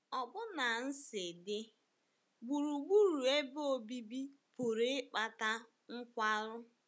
Ọbụna nsí dị gburugburu ebe obibi pụrụ ịkpata nkwarụ.